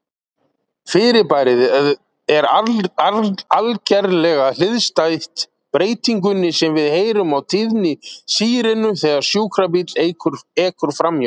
Fyrirbærið er algerlega hliðstætt breytingunni sem við heyrum á tíðni sírenu þegar sjúkrabíll ekur framhjá.